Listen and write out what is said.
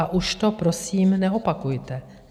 A už to prosím neopakujte.